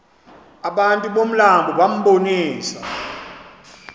abantu bomlambo bambonisa